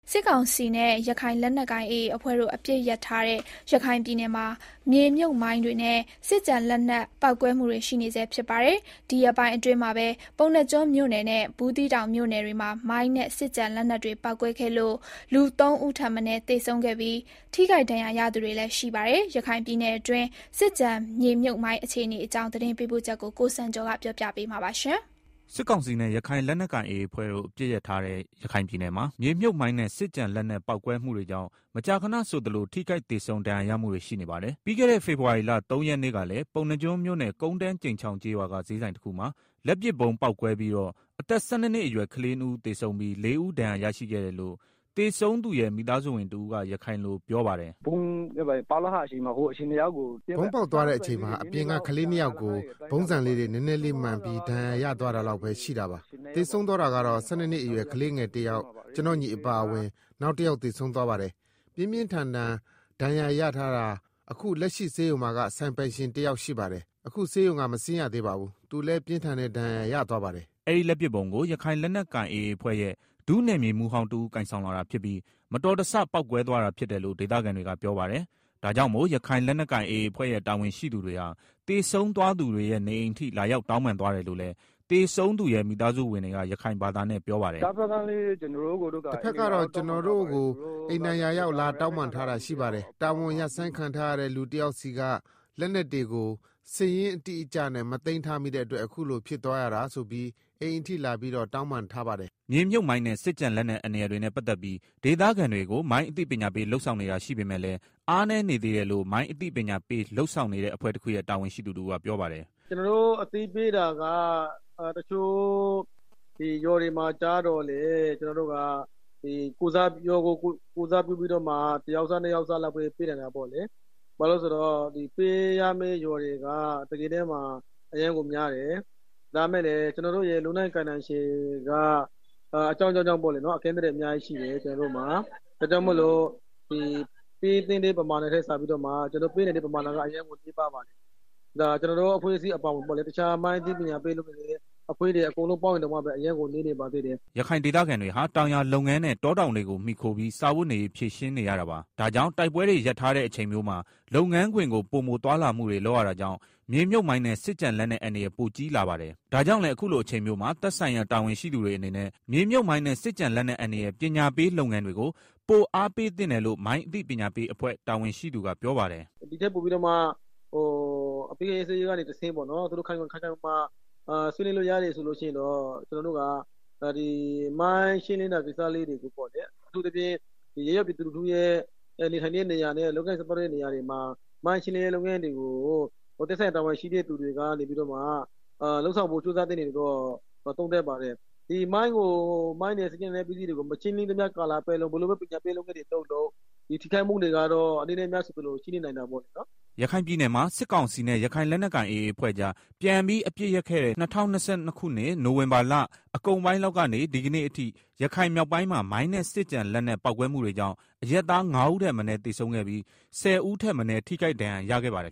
စစ်ကောင်စီနဲ့ ရခိုင်လက်နက်ကိုင်AAအဖွဲ့တို့ အပစ်ရပ်ထားတဲ့ ရခိုင်ပြည်နယ်မှာ မြေမြှပ်မိုင်းနဲ့ စစ်ကျန်လက်နက်ပေါက်ကွဲမှုတွေ ရှိနေဆဲဖြစ်ပါတယ်။ ဒီရက်ပိုင်းအတွင်းမှာပဲ ပုဏ္ဏားကျွန်းမြို့ နယ်နဲ့ ဘူးသီးတောင်မြို့နယ်တွေမှာ မိုင်းနဲ့စစ်ကျန်လက်နက်တွေ ပေါက်ကွဲလို့၊ လူ ၃ ဦးထက်မနည်းသေဆုံးပြီး ထိခိုက်ဒဏ်ရာရသူတွေလည်းရှိပါတယ်။ ရခိုင်ပြည်နယ်တွင်း စစ်ကျန် မြေမြုပ်မိုင်းအခြေအနေအကြောင်း သတင်းပေးပို့ချက်ကို ကိုစံကျော်က တင်ပြပေးပါမယ်။ စစ်ကောင်စီနဲ့ ရခိုင်လက်နက်ကိုင်AAအဖွဲ့တို့ အပစ်ရပ်ထားတဲ့ ရခိုင်ပြည်နယ်မှာ မြေမြှပ်မိုင်းနဲ့ စစ်ကျန်လက်နက်ပေါက်ကွဲမှုတွေကြောင့်မကြာခဏဆိုသလို ထိခိုက်သေဆုံးဒဏ်ရာရမှုတွေရှိနေပါတယ်။ ပြီးခဲ့တဲ့ ဖေဖော်ဝါရီလ ၃ရက်နေ့ကလည်း ပုဏ္ဏားကျွန်းမြို့နယ် ကုန်းတန်းကြိမ်ချောင်းကျေးရွာက ဈေးဆိုင်တခုမှာ လက်ပစ်ဗုံးပေါက်ကွဲပြီးတော့ အသက် ၁၂နှစ်အရွယ် ကလေး ၂ ဦးသေဆုံးပြီး လေးဦးဒဏ်ရာရရှိခဲ့တယ်လို့ သေဆုံးသူရဲ့ မိသားစုဝင်တစ်ဦးကပြောပါတယ်။ “ ဗုံးပေါက်သွားတဲ့အချိန်မှာ အပြင်က ကလေးနှစ်ယောက်ကို ဗုံးဆံလေးတွေ နည်းနည်းလေး မှန်ပြီးဒဏ်ရာရသွားတာလောက်ပဲရှိတာ၊သေဆုံးသွားတာကတော့ ၁၂ နှစ်အရွယ် ကလေးနှစ် ယောက် ကျနော့်ညီ အပါအဝင် နောက်တယောက်သေဆုံးသွားတယ်။ ပြင်းပြင်းထန်ထန် အခုဒဏ်ရာရထားတာအခုလက်ရှိဆေးရုံမှာက ဆိုင်ပိုင်ရှင် တယောက်ရှိတယ်။ အခုဆေးရုံက မဆင်းရသေးဘူး၊ သူလည်း ပြင်းထန်တဲ့ ဒဏ်ရာရသွားတယ်။” အဲဒီလက်ပစ်ဗုံးကို ရခိုင်လက်နက်ကိုင် AA အဖွဲ့ရဲ့ ဒုနယ်မြေမှူးဟောင်း တစ်ဦးကိုင်ဆောင် လာတာဖြစ်ပြီး မတော်တဆပေါက်ကွဲသွားတာဖြစ်တယ်လို့ ဒေသခံတွေကပြောပါတယ်။ ဒါကြောင့်မို့ ရခိုင်လက်နက်ကိုင် AA အဖွဲ့ ရဲ့တာဝန်ရှိသူတွေဟာ သေဆုံးသွားသူတွေရဲ့ နေအိမ်အထိလာရောက်တောင်းပန်သွားတယ်လို့လည်း သေဆုံးသူရဲ့ မိသားစုဝင်တွေက ပြောပါတယ်။ “ တပ်ဖက်ကတော့ ကျနော်တို့ကို အိမ်တိုင်ရာရောက် လာရောက်တောင်းပန်ထားတာရှိပါတယ်၊ တာဝန်ရပ်ဆိုင်းခံထားရတဲ့ လူတယောက်ဆီက လက်နက်တွေကို စာရင်းတိကျနဲ့ မသိမ်းထားမိတဲ့အတွက် အခုလို ဖြစ်သွားရတာဆိုပြီး အိမ်အထိလာပြီးတော့ တောင်းပန်ထားပါတယ်။” မြေမြှုပ်မိုင်းနဲ့ စစ်ကျန် လက်နက် အန္တရာယ်တွေနဲ့ ပတ်သတ်ပြီး ဒေသခံတွေကို မိုင်းအသိပညာပေး လုပ်ဆောင် နေတာရှိပေမယ့်လည်း၊ အားနည်းနေသေးတယ်လို့ မိုင်းအသိပညာပေးလုပ်ဆောင်နေတဲ့အဖွဲ့တခုရဲ့ တာဝန်ရှိသူတစ်ဦးကပြောပါတယ်။ “ကျနော်တို့ အသိပေးတာက တချို့ရွာတွေမှာ ကျတော့လဲ ရွာကို ကိုယ်စားပြုပြီးတော့မှ ၁ယောက် ၂ယောက်ပဲ ပေးနိုင်တာပေါ့လေ၊ ပေးရမယ့် ရွာတွေက တကယ်တမ်းမှာအရမ်းကို များတယ်၊ ဒါပေမယ့် ကျနော်တို့ လုပ်နိုင်ကိုင်စွမ်းတွေက အကန့်အသတ်တွေ အများကြီးရှိ တယ် ကျနော်တို့မှာ ဒါကြောင့်မလို့ ကျနော်တို့မှာ ပေးသင့်တဲ့ ပဏထက် အသိပညာပေး နိုင်တာက အရမ်းကို နည်းပါးပါတယ်၊ ကျနော်တို့အဖွဲ့အစည်းအပါဝင် တခြားမိုင်းအသိပညာ ပေးအဖွဲ့တွေပေါင်းရင်တောင်မှ အရမ်းကို နည်းနေပါသေးတယ်။” ရခိုင်ဒေသခံတွေဟာ တောင်ယာလုပ်ငန်းနဲ့ တောတောင်တွေကို မှီခိုပြီး စားဝတ်နေရေးဖြေရှင်းနေရတာပါ။ ဒါကြောင့် တိုက်ပွဲတွေ ရပ်ထားတဲ့အချိန်မျိုးမှာ လုပ်ငန်းခွင်ကို ပိုမိုသွားလာမှုတွေလုပ်ရတာကြောင့်၊ မြေမြှုပ်မိုင်းနဲ့ စစ်ကျန်လက်နက် အန္တရာယ်ပိုကြီးလာပါတယ်။ ဒါကြောင့်လည်း အခုလို အချိန်မျိုးမှာ သက်ဆိုင်ရာတာဝန်ရှိသူတွေအနေနဲ့ မြေမြှုပ်မိုင်းနဲ့စစ်ကျန်လက်နက်အန္တရာယ် ပညာပေးလုပ်ငန်းတွေကို ပိုအားပေးသင့်တယ်လို့ မိုင်းအသိပညာပေးအဖွဲ့ တာဝန်ရှိသူက ပြောပါတယ်။ “ ဒီထက်ပိုပြီးတော့မှ အပစ်အခတ်ရပ်ဆဲထားတာကနေတဆင့် ခိုင်ခိုင်မာမာ ဆွေးနွေးလို့ရတယ်ဆိုလို့ရှိရင်တော့ ကျနော်တို့က မိုင်းရှင်းလင်းရေး ကိစ္စတွေကိုပေါ့လေ၊ အထူးသဖြင့် ရပ်ရွာပြည်သူလူထု နေထိုင်တဲ့နေရာနဲ့ ပတ်သတ်တဲ့နေရာတွေမှာ မိုင်းရှင်းလင်းရေး လုပ်ငန်းတွေကို သက်ဆိုင်ရာတာဝန်ရှိသူတွေက လုပ်ဆောင်ဖို့ကြိုးစားသင့်တယ်လို့ သုံးသပ်ပါတယ် ဒီမိုင်းနဲ့ စက်ကျန်လက်နက်ပစ္စည်းတွေကို မရှင်းရသေးကာလပတ်လုံး ဘယ်လိုပဲ ပညာပေး လုပ်ငန်း တွေ လုပ်လုပ် ထိခိုက်မှုတွေကတော့ အနည်းနဲ့ အများဆိုသလို ရှိနေနိုင်တာပေါ့နော်။” ရခိုင်ပြည်နယ်မှာ စစ်ကောင်စီနဲ့ ရခိုင်လက်နက်ကိုင် AA အဖွဲ့ကြား ပြန်ပြီး အပစ်ရပ်ခဲ့တဲ့ ၂၀၂၂ခုနှစ် နိုဝင်ဘာလ အကုန်ပိုင်း လောက်ကနေ ဒီကနေ့အထိ၊ ရခိုင်မြောက်ပိုင်းမှာ မိုင်းနဲ့ စစ်ကျန်လက်နက်ပေါက်ကွဲမှုတွေကြောင့် အရပ်သား ၅ဦးထက်မနည်းသေဆုံးခဲ့ပြီး၊ ၁၀ ထက်မနည်း ထိခိုက်ဒဏ်ရာရခဲ့ပါတယ်